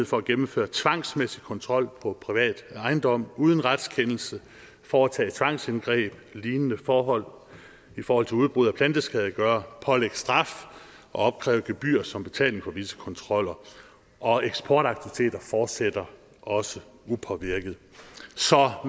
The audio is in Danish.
for at gennemføre tvangsmæssig kontrol på privat ejendom uden retskendelse foretage tvangsindgreb lignende forhold i forhold til udbrud af planteskadegørere pålægge straf og opkræve gebyrer som betaling for disse kontroller og eksportaktiviteter fortsætter også upåvirket så